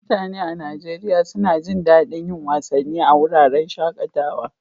Mutane a Najeriya suna jin daɗin yin wasanni a wuraren shaƙatawa.